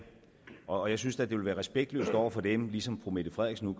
og jeg synes da det ville være respektløst over for dem ligesom fru mette frederiksen